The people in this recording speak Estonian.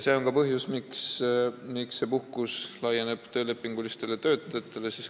See on põhjus, miks ka see puhkus kehtib töölepinguliste töötajate kohta.